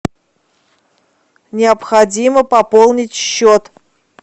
необходимо пополнить счет